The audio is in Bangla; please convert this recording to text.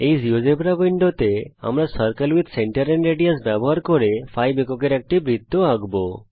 এই জীয়োজেব্রা উইন্ডোর মধ্যে এখন আমরা circle with centre and radius ব্যবহার করে 5 এককের একটি বৃত্ত আঁকব